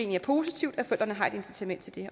det er positivt at bedsteforældrene har et incitament til det